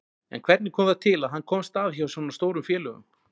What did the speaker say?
En hvernig kom það til að hann komst að hjá svona stórum félögum?